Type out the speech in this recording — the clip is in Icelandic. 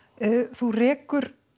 þú rekur